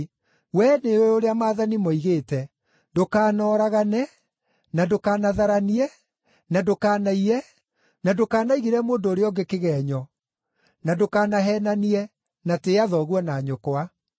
Wee nĩ ũũĩ ũrĩa maathani moigĩte: ‘Ndũkanoragane, na ndũkanatharanie, na ndũkanaiye, na ndũkanaigĩrĩre mũndũ ũrĩa ũngĩ kĩgeenyo, na ndũkanaheenanie, na tĩĩa thoguo na nyũkwa.’ ”